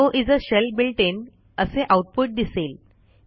echo is a shell built in असे output दिसेल